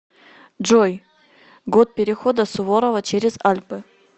джой год перехода суворова через альпы